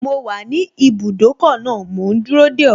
Mo wà ní ibùdókọ̀ náà mò ún dúró dè ọ́